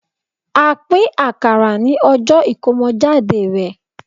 a pin akara ní ọjọ Ikomojade rẹ